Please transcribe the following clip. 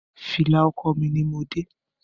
Fìlà ọkọ mí ní mo dé.